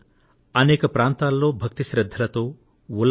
ఈ పండుగను ఇప్పుడు ప్రపంచంలోని కొన్ని ప్రాంతాలలో కూడా జరుపుకొంటున్నారు